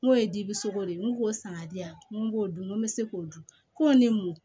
N ko ye dibi sogo de ye n k'u k'o san ka di yan n ko n b'o dun n ko n bɛ se k'o dun ko ni mun